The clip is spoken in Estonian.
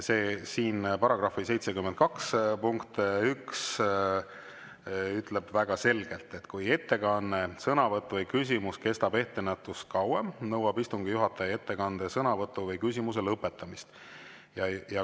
§ 72 punkt 1 ütleb väga selgelt: "Kui ettekanne, sõnavõtt või küsimus kestab ettenähtust kauem, nõuab istungi juhataja ettekande, sõnavõtu või küsimuse lõpetamist.